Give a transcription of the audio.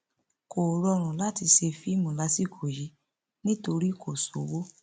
kò rọrùn láti ṣe fíìmù lásìkò yìí nítorí kò sówó